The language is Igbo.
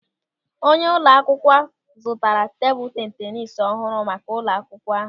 Onyeisi ụlọ akwụkwọ zụtara tebụl tenis ọhụrụ maka ụlọ akwụkwọ ahụ.